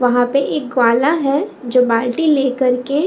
वहाँ पे एक ग्वाला है जो बाल्टी लेकर के --